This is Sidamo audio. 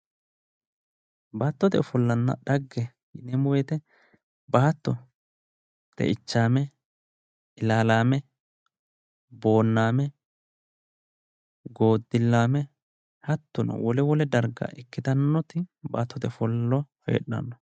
Baattote ofollanna dhagge yineemmo woyte baatto xeichaame ilaalaame booname goodilaame hattono wole wole darga ikkitannoti baattote ofollo heedhanno